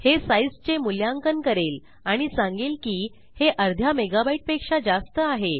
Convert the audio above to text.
हे साईजचे मूल्यांकन करेल आणि सांगेल की हे अर्ध्या मेगाबाईट पेक्षा जास्त आहे